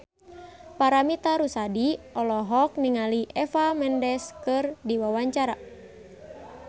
Paramitha Rusady olohok ningali Eva Mendes keur diwawancara